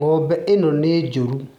Ng'ombe ĩyo nĩ njũru